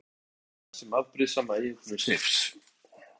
Mikið er fjallað um hana sem afbrýðissama eiginkonu Seifs.